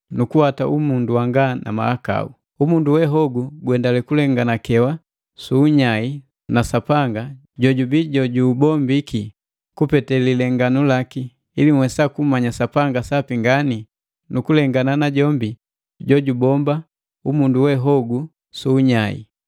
nukuwata umundu wanga na mahakau. Umundu we hogu guendale kulenganakewa su unyai na Sapanga, jojubii mmbombi waki, kupete lilenganu laki, ili nhwesa kummanya Sapanga sapi ngani nu kulengana najombi jojubomba umundu we hogu suunyai.